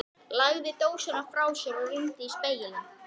Lagði dósina frá sér og rýndi í spegilinn.